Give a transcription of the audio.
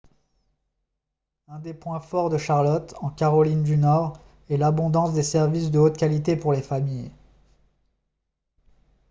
un des points forts de charlotte en caroline du nord est l'abondance des services de haute qualité pour les familles